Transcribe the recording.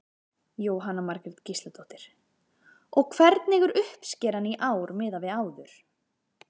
Jóhanna Margrét Gísladóttir: Og hvernig er uppskeran í ár miðað við áður?